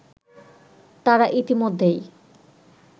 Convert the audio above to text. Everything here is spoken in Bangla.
তারা ইতিমধ্যেই